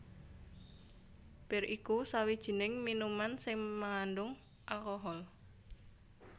Bir iku sawijining minuman sing mangandhung alkohol